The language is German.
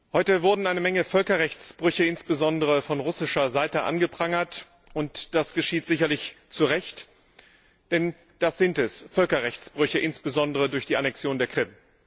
Heute wurden eine Menge Völkerrechtsbrüche, insbesondere von russischer Seite, angeprangert. Das geschieht sicherlich zu Recht, denn das sind es, Völkerrechtsbrüche, insbesondere durch die Annexion der Krim.